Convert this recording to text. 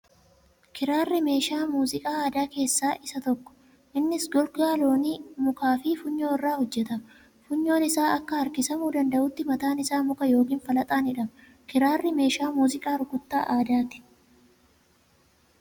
Kiraarri meeshaa meeziqaa aadaa keeessa usa tokko. Innis gogaa loonii, mukaa fi funyoo irraa hojjtama. Funyoon isaa akka harkisqmuu danda'utti mataan isaaa muka yookiin falaxaan hidhama. Kiraarri meeshaa muuziqaa rukuttaa aadaati.